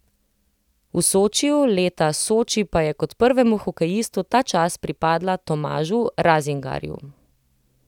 V Sočiju leta Soči pa je kot prvemu hokejistu ta čast pripadla Tomažu Razingarju.